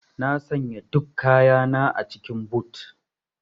Na sanya duk kayana a cikin boot.